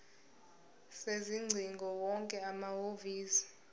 sezingcingo wonke amahhovisi